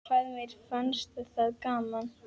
Hvað mér fannst það gaman.